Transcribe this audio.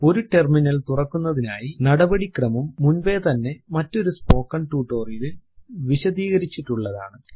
ഒരു ടെർമിനൽ തുറക്കുന്നതിനുള്ള നടപടിക്രമം മുൻപേതന്നെ മറ്റൊരു സ്പോക്കൻ ട്യൂട്ടോറിയൽ ലിൽ വിശദീകരിച്ചിട്ടുള്ളതാണ്